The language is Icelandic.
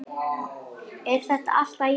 Er þetta alltaf jafn gaman?